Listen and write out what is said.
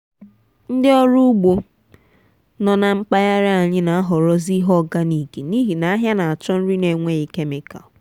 a na m eji mmiri kọmpọst mee um ihe nri akwụkwọ nri m ikọrọ n’oge mmalite ito eto ha.